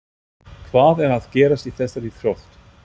Hvað er að gerast í þessari íþrótt?